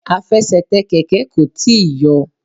Afẹsẹ̀tẹ̀ Kẹ̀kẹ́ kò tíì yọ.